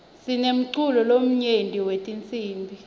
sinemculo lomnyenti wetinsibi